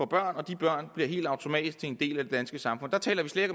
børn og de børn bliver helt automatisk en del af det danske samfund der taler vi slet